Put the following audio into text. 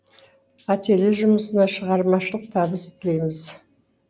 ателье жұмысына шығармашылық табыс тілейміз